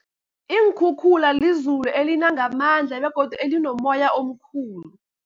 Iinkhukhula lizulu elina ngamandla begodu elinomoya omkhulu.